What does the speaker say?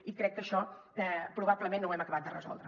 i crec que això probablement no ho hem acabat de resoldre